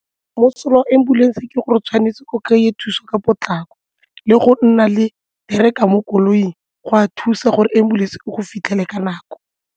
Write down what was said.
Mosola wa ambulance ke gore tshwanetse o kry-e thuso ka potlako le go nna le tracker mo koloing go a thusa gore ambulance e go fitlhele ka nako.